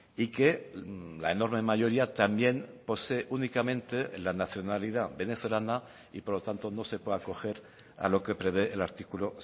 y que la enorme mayoría también posee únicamente la nacionalidad venezolana y por lo tanto no se puede acoger a lo que prevé el artículo